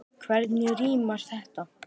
Hvernig rímar þetta?